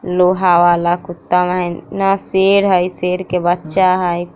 लोहा वाला कुत्ता हई ना शेर हई शेर का बच्चा हई ।